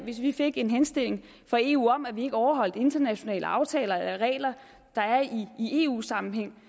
hvis vi fik en henstilling fra eu om at vi ikke overholdt internationale aftaler regler der er i eu sammenhæng